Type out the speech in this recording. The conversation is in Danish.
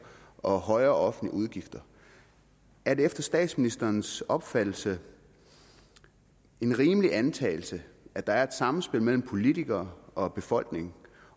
og højere offentlige udgifter er det efter statsministerens opfattelse en rimelig antagelse at der er et samspil mellem politikere og befolkning